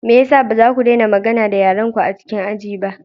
Me ya sa ba za ku daina magana da yarenku a cikin aji ba?